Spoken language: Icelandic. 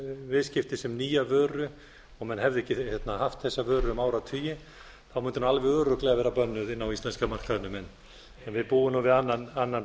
viðskipti sem nýja vöru og menn hefðu ekki haft þessa vöru um áratugi mundi hún alveg örugglega vera bönnuð inn á íslenska markaðnum en við búum nú við annan